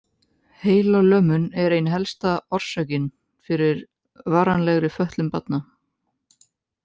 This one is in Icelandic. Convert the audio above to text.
Heilalömun er ein helsta orsökin fyrir varanlegri fötlun barna.